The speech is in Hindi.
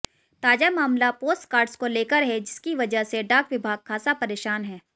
ताज़ा मामला पोस्टकार्ड्स को लेकर है जिसकी वजह से डाक विभाग ख़ासा परेशान है